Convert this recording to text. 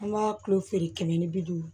An b'a tulo feere kɛmɛ ni bi duuru